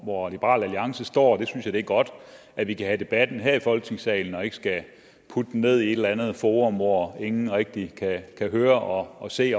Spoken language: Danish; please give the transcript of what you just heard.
hvor liberal alliance står jeg synes det er godt at vi kan have debatten her i folketingssalen og ikke skal putte den ned i et andet forum hvor ingen rigtig kan høre og se